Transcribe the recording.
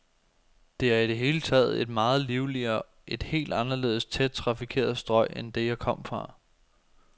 Det er i det hele taget et meget livligere, et helt anderledes tæt trafikeret strøg end det, jeg kom fra.